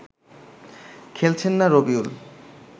খেলছেন না রবিউল